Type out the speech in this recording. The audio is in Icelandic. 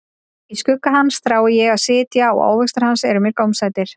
Í skugga hans þrái ég að sitja, og ávextir hans eru mér gómsætir.